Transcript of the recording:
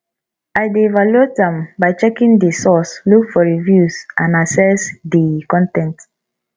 i dey evaluate am by checking di source look for reviews and assess di con ten t